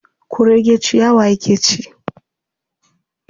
Kurege ciyawa yake ci.